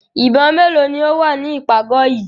Ìbọn mélòó ni ó wà ní ìpàgọ̀ yìí?